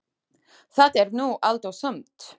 Það er nú allt og sumt.